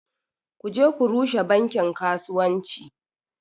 Ku je ku rushe bankin kasuwanci